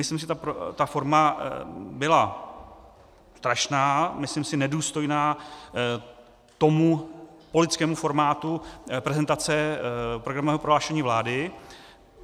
Myslím si, že ta forma byla strašná, myslím si nedůstojná tomu politickému formátu prezentace programového prohlášení vlády.